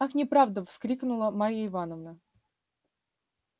ах неправда вскрикнула марья ивановна